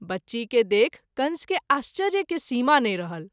बच्ची के देखि कंस के आश्चर्य के सीमा नहिं रहल।